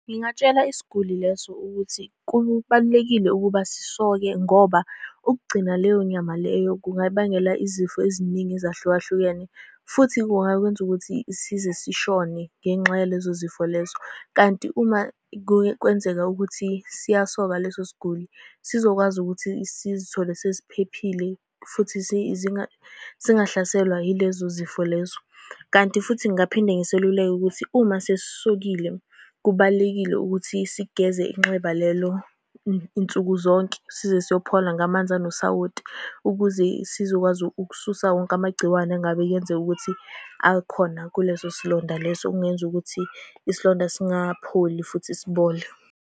Ngingatshela isiguli leso ukuthi, kubalulekile ukuba sisonke ngoba ukugcina leyo nyama leyo kungabangela izifo eziningi ezahlukahlukene, futhi kungakwenza ukuthi size sishone ngenxa yalezo zifo lezo. Kanti uma kwenzeka ukuthi siyasoka leso siguli, sizokwazi ukuthi sizithole sesiphephile, futhi singahlaselwa yilezo zifo lezo. Kanti futhi ngingaphinde ngiseluleke ukuthi uma sesisokile kubalulekile ukuthi sigeze inxeba lelo nsuku zonke, size siyophola, ngamanzi anosawoti ukuze sizokwazi ukususa wonke amagciwane engabe kuyenzeka ukuthi akhona kuleso silonda leso. Okungenza ukuthi isilonda singapholi, futhi sibole.